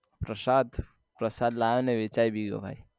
પ્રસાદ પ્રસાદ લાયો ને વેચાઈ ભી ગયો ભાઈ